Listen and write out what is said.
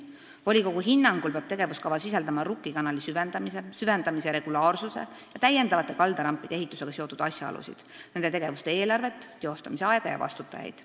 Volikogu hinnangul peab tegevuskava sisaldama Rukki kanali süvendamise, süvendamise regulaarsuse ja täiendavate kaldarampide ehitusega seotud asjaolusid, nende tegevuste eelarvet, teostamise aega ja vastutajaid.